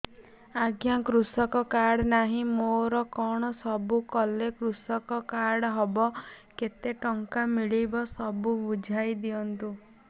ଆଜ୍ଞା କୃଷକ କାର୍ଡ ନାହିଁ ମୋର କଣ ସବୁ କଲେ କୃଷକ କାର୍ଡ ହବ କେତେ ଟଙ୍କା ମିଳିବ ସବୁ ବୁଝାଇଦିଅନ୍ତୁ